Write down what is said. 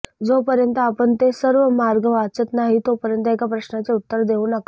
जोपर्यंत आपण ते सर्व मार्ग वाचत नाही तोपर्यंत एका प्रश्नाचे उत्तर देऊ नका